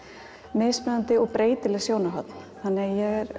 mismunandi og breytileg sjónarhorn þannig að ég er